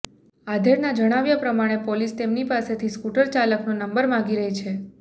આધેડના જણાવ્યા પ્રમાણે પોલીસ તેમની પાસેથી સ્કુટર ચાલકનો નંબર માંગી રહી છે